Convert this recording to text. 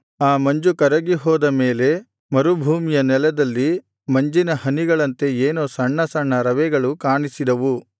ಆ ಮಂಜು ಕರಗಿ ಹೋದ ಮೇಲೆ ಮರುಭೂಮಿಯ ನೆಲದಲ್ಲಿ ಮಂಜಿನ ಹನಿಗಳಂತೆ ಏನೋ ಸಣ್ಣ ಸಣ್ಣ ರವೆಗಳು ಕಾಣಿಸಿದವು